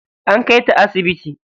An kai ta asibiti.